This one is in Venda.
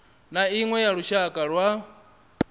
na iṅwe ya lushaka lwa